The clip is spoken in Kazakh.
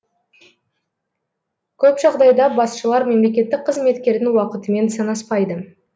көп жағдайда басшылар мемлекеттік қызметкердің уақытымен санаспайды